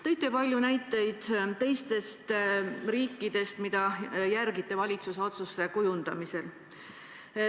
Te tõite palju näiteid teistest riikidest, mille tegutsemist te jälgite valitsuse otsuste kujundamisel.